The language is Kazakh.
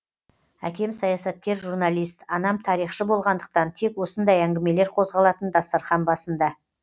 әкем саясаткер журналист анам тарихшы болғандықтан тек осындай әңгімелер қозғалатын дастархан басында